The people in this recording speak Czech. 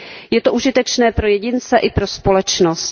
Je to užitečné pro jedince i pro společnost.